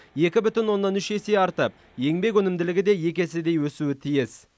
екі бүтін оннан үш есе артып еңбек өнімділігі де екі еседей өсуі тиіс